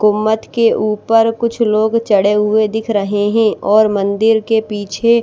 गुंबद के ऊपर कुछ लोग चढ़े हुए दिख रहे हैं और मंदिर के पीछे--